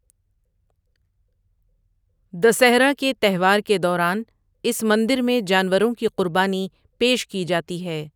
دسہرہ کے تہوار کے دوران اس مندر میں جانوروں کی قربانی پیش کی جاتی ہے۔